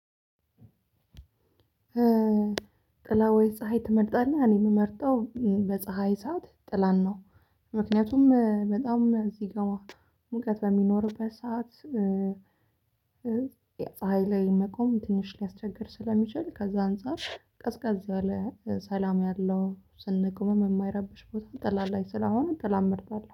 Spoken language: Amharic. ጥላ ወይ? ፀሀይ ትመርጣለህ እኔ የምመርጠው በፀሀይ ሰዓት ጥላን ነው። ምክንያቱም እ በጣም እዚህ ጋ ሙቀት በሚኖርበት ሰዓት እ ፀሀይ ላይ መቆም ትንሽ ሊያስቸግር ስለሚችል ከዛ አንፃር ቀዝቀዝ ያለ እ ሰላም ያለው ስንቆምም የማይረብሽ ቦታ ጥላ ላይ ስለሆነ ጥላን እመርጣለሁ